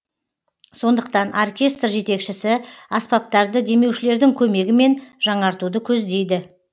сондықтан оркестр жетекшісі аспаптарды демеушілердің көмегімен жаңартуды көздейді